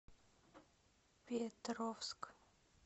петровск